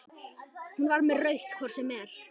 Hún var með rautt hvort sem er.